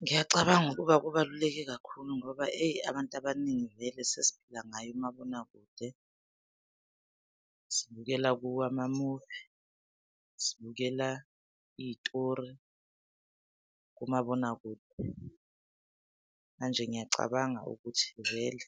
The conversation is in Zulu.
Ngiyacabanga ukuba kubaluleke kakhulu ngoba eyi, abantu abaningi vele sesiphila ngayo imabonakude sibukela kuwo ama-movie, sibukela iy'tori kumabonakude. Manje ngiyacabanga ukuthi vele